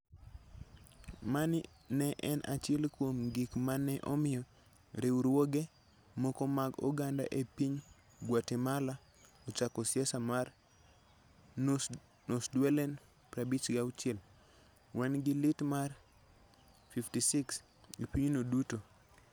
Mani ne en achiel kuom gik ma ne omiyo riwruoge moko mag oganda e piny Guatemala ochako siasa mar #NosDuelen56 ("wan gi lit mar 56 ") e pinyno duto.